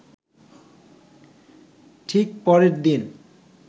ঠিক পরের দিন